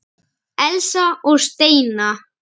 Elsa og Steina.